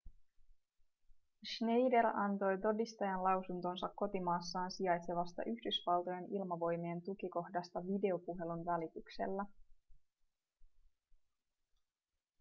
schneider antoi todistajanlausuntonsa kotimaassaan sijaitsevasta yhdysvaltojen ilmavoimien tukikohdasta videopuhelun välityksellä